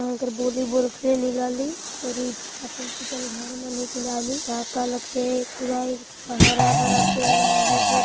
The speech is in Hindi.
बोलीवॉल खेलीलाल अरि इ फाटल टूटल घर मन का का ला खेल कुदाय इ हरा-भरा पेड़ मन हे के --